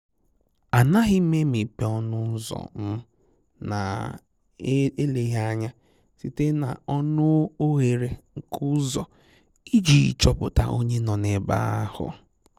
Ànaghị́ m émépé ọnụ́ ụ́zọ̀ m nà-èlèghị́ ányá site n'ọnụ́ oghere nke ụ́zọ̀ iji chọ́pụ̀ta onye nọ́ ebe ahụ́.